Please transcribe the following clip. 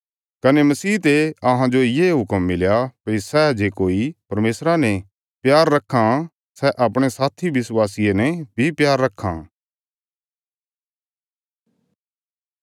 कने मसीह ते अहांजो ये हुक्म मिलया भई सै जे कोई परमेशरा ने प्यार रक्खां सै अपणे साथी विश्वासिये ने बी प्यार रक्खां